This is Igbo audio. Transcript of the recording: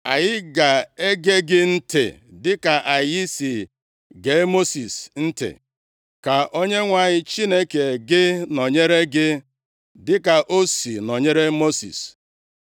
Anyị ga-ege gị ntị dịka anyị si gee Mosis ntị. Ka Onyenwe anyị Chineke gị nọnyere gị dịka o si nọnyere Mosis.